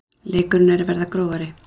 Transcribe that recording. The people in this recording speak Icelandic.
Leikurinn er að verða grófari